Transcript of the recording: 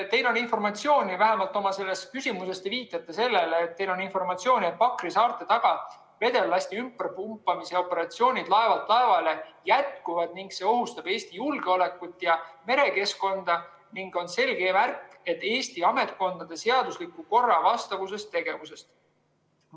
Teil on informatsiooni, vähemalt oma selles küsimuses te nii viitasite, et Pakri saarte taga vedellasti ümberpumpamise operatsioonid laevalt laevale jätkuvad ning see ohustab Eesti julgeolekut ja merekeskkonda ning on selge märk Eesti ametkondade seadusliku korra vastasest tegevusest.